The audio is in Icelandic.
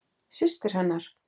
Systir hennar?